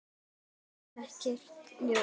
Það kom ekkert ljós.